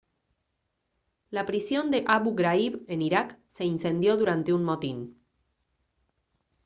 la prisión de abu ghraib en irak se incendió durante un motín